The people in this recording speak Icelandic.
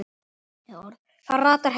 Það ratar heim.